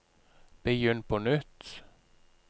begynn på nytt